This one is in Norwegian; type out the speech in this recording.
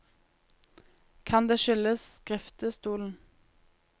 Kan det skyldes skriftestolen?